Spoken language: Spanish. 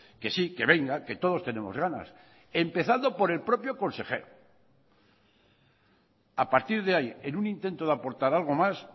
que sí que venga que todos tenemos ganas empezando por el propio consejero a partir de ahí en un intento de aportar algo más